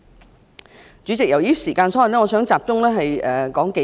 代理主席，由於時間所限，我想集中討論數點。